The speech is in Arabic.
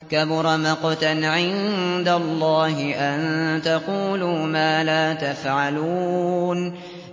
كَبُرَ مَقْتًا عِندَ اللَّهِ أَن تَقُولُوا مَا لَا تَفْعَلُونَ